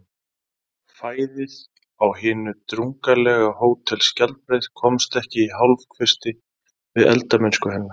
Fæðið á hinu drungalega Hótel Skjaldbreið komst ekki í hálfkvisti við eldamennsku hennar.